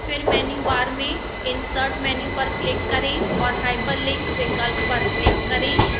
फिर menu bar में insert menu पर click करें और hyperlink विकल्प पर click करें